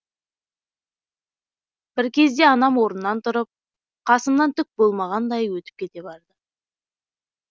бір кезде анам орнынан тұрып қасымнан түк болмағандай өтіп кете барды